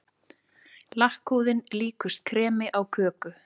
Lakkhúðin líkust kremi á köku.